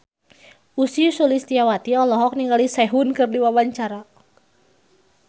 Ussy Sulistyawati olohok ningali Sehun keur diwawancara